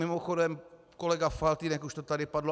Mimochodem, kolega Faltýnek - už to tady padlo.